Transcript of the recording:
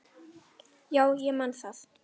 Já, ég man það.